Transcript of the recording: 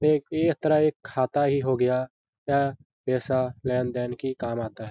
ए एक तरह खाता ही हो गया या पेसा लैन -दैन के काम आता है।